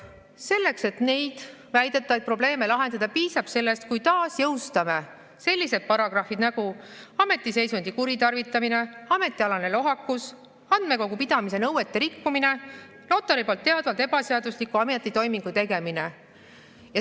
Selleks, et neid väidetavaid probleeme lahendada, piisab sellest, kui taas jõustame sellised paragrahvid nagu "Ametiseisundi kuritarvitamine", "Ametialane lohakus", "Andmekogu pidamise nõuete rikkumine", "Notari poolt teadvalt ebaseadusliku ametitoimingu tegemine".